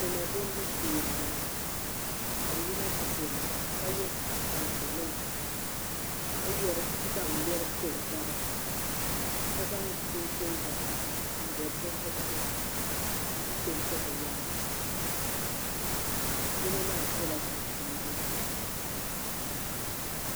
Dema dembu shee n bɔŋɔ. kabi yina ti demda kaye kan yɛn nima ka zaŋ yeri npɛ gabi ka zaŋ chin chin vakaha n bɔbi bɛ zuɣuri. ka pɛnti bɛ yaansi, yinɔ maa sola chinchini blue